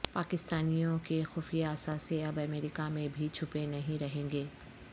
پاکستانیوںکے خفیہ اثاثے اب امریکہ میں بھی چھپے نہیں رہیں گے